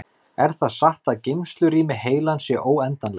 Er það satt að geymslurými heilans sé óendanlegt?